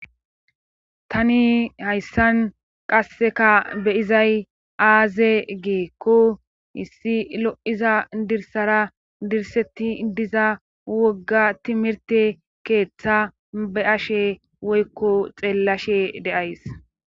tani hayssan qasseka beyizay aaze geekko issi lo7iza dirsara dirsetti diza wogga timirte keeththa ba ashe woykko xeellashe de'ays